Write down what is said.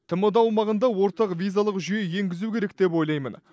тмд аумағында ортақ визалық жүйе енгізу керек деп ойлаймын